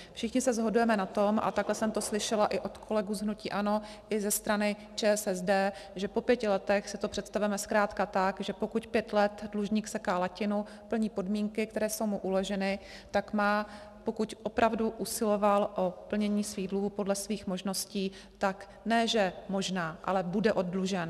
Všichni se shodujeme na tom, a takhle jsem to slyšela i od kolegů z hnutí ANO i ze strany ČSSD, že po pěti letech si to představujeme zkrátka tak, že pokud pět let dlužník seká latinu, plní podmínky, které jsou mu uloženy, tak má, pokud opravdu usiloval o plnění svých dluhů podle svých možností, tak ne že možná, ale bude oddlužen.